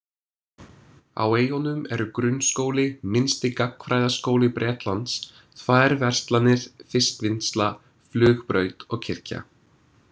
Á eyjunum eru grunnskóli, minnsti gagnfræðaskóli Bretlands, tvær verslanir, fiskvinnsla, flugbraut og kirkja.